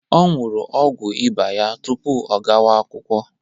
Ọ ñyuru ọgwu Ịba ya tupu ọ gawa-akwụkwọ.